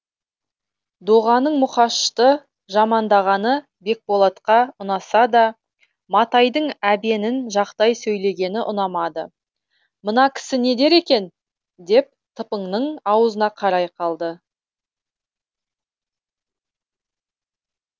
доғаның мұқашты жамандағаны бекболатқа ұнаса да матайдың әбенін жақтай сөйлегені ұнамады мына кісі не дер екен деп тыпаңның аузына қарай қалды